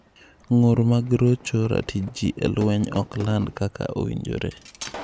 Ng'ur mag rocho ratichji e lweny 'ok land kaka owinjore'